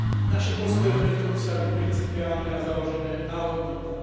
Naše postoje preto musia byť principiálne a založené na hodnotách.